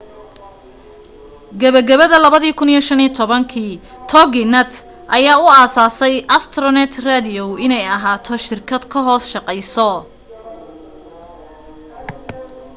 gabagabada 2015 toginet ayaa u aasaasay astronet radio inay ahaato shirkad ka hoos shaqeyso